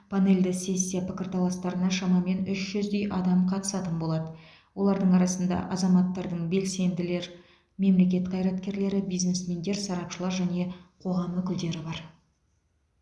панельді сессия пікірталастарына шамамен үш жүздей адам қатысатын болады олардың арасында азаматтардың белсенділер мемлекет қайраткерлері бизнесмендер сарапшылар және қоғам өкілдері бар